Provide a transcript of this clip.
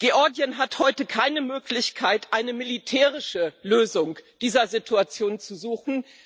Georgien hat heute keine Möglichkeit, eine militärische Lösung dieser Situation zu suchen.